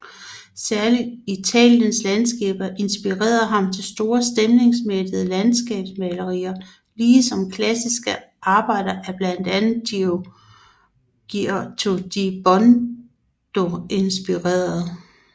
Særligt Italiens landskaber inspirerede ham til store stemningsmættede landskabsmalerier ligesom klassiske arbejder af blandt andre Giotto di Bondone indspirerede